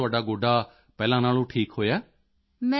ਤਾਂ ਹੁਣ ਤੁਹਾਡਾ ਗੋਡਾ ਪਹਿਲਾਂ ਨਾਲੋਂ ਠੀਕ ਹੋਇਆ ਹੈ